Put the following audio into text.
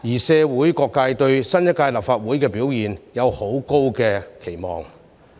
社會各界對新一屆立法會的表現有很高的期望。